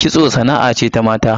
Kitso sana'a ce ta mata